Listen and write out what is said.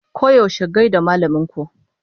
Koyaushe gai da malaman ku!